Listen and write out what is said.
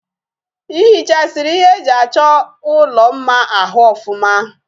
Ihichasiri ihe eji acho ulo mma ahu ofuma?